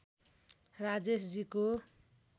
राजेश जी को